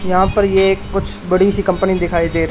यहां पर ये कुछ बड़ी सी कंपनी दिखाई दे--